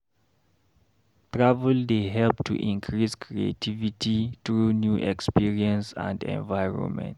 Travel dey help to increase creativity through new experience and environment.